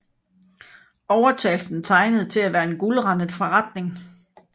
Overtagelsen tegnede til at være en guldrandet forretning